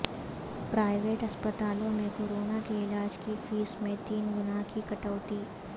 private اسپتالوں میں corona کے علاج کی فیس میں تین گنا کی کٹوتی